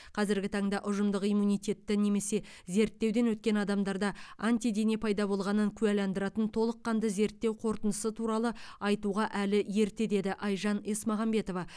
қазіргі таңда ұжымдық иммунитетті немесе зерттеуден өткен адамдарда антидене пайда болғанын куәландыратын толыққанды зерттеу қорытындысы туралы айтуға әлі ерте деді айжан есмағамбетова